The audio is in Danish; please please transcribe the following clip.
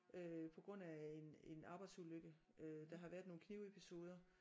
Øh på grund af en en arbejdsulykke. Øh der har været nogle knivepisoder